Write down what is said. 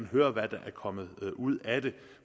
høre hvad der er kommet ud af det